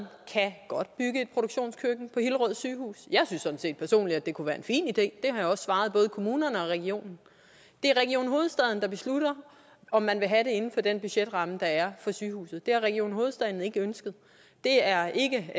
et produktionskøkken på hillerød sygehus jeg synes sådan set personligt at det kunne være en fin idé det har jeg også svaret både kommunerne og regionen det er region hovedstaden der beslutter om man vil have det inden for den budgetramme der er for sygehuset det har region hovedstaden ikke ønsket det er ikke